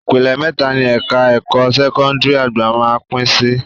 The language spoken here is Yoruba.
Ìpele mẹ́ta ni ẹ̀ka ẹ̀kọ́ sẹ́kọ́ndìrì àgbà máá ń pín sí